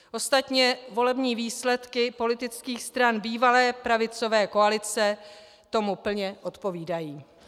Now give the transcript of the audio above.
Ostatně volební výsledky politických stran bývalé pravicové koalice tomu plně odpovídají.